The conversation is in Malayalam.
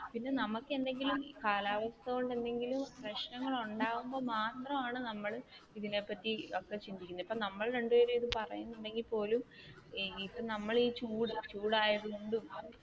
പിന്നെ നമുക്ക് എന്തെങ്കിലും കാലാവസ്ഥ കൊണ്ട് എന്തെങ്കിലും പ്രശ്നങ്ങൾ ഉണ്ടാകുമ്പോൾ മാത്രമാണ് നമ്മൾ ഇതിനെ പറ്റി ഒക്കെ ചിന്തിക്കുന്നത് ഇപ്പ നമ്മൾ രണ്ടു പേര് പറയുന്നെണ്ടെങ്കിൽ പോലും നമ്മൾ ഈ ചൂട് ചൂടായതുകൊണ്ടും